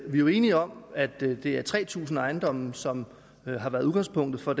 vi jo er enige om at det er tre tusind ejendomme som har været udgangspunktet for